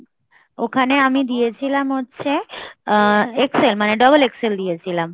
ওখানে আমি দিয়েছিলাম হচ্ছে আ~ XL মানে XXL দিয়েছিলাম